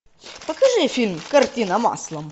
покажи фильм картина маслом